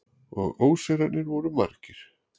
Og ósigrarnir voru margir.